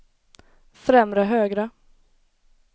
främre högra